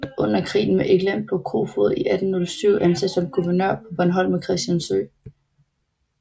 Under krigen med England blev Koefoed 1807 ansat som guvernør på Bornholm og Christiansø